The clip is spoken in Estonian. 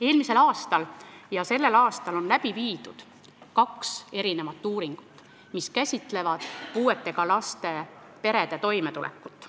Eelmisel ja sellel aastal on läbi viidud kaks uuringut, mis käsitlevad puudega laste perede toimetulekut.